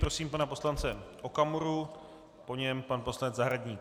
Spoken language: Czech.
Prosím pana poslance Okamuru, po něm pan poslanec Zahradník.